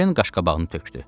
Ken qaşqabağını tökdü.